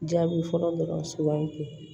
Jaabi fɔlɔ dɔrɔn sugandi